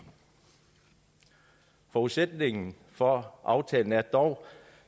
forudsætningen for aftalen er dog